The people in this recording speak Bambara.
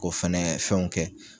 K'o fɛnɛ fɛnw kɛ.